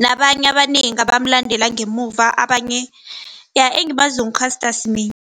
nabanye abanengi abamulandela ngemuva abanye. Iya engimaziko ngu-Caster Semenya.